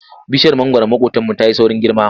Bishiyar mangwaron maƙotanmu ta yi saurin girma.